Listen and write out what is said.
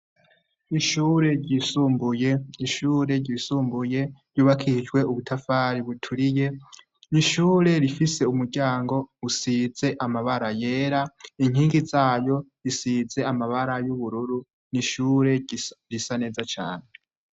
n'ishure ryisumbuye. ishure ryisumbuye ryubakishijwe ubutafari buturiye, n'ishure rifise umuryango usize amabara yera, inkingi zayo zisize amabara y'ubururu, n'ishure risa neza cyane.